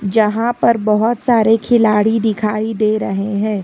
जहां पर बहुत सारे खिलाड़ी दिखाई दे रहे है।